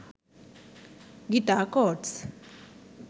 guitar chords